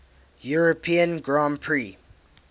european grand prix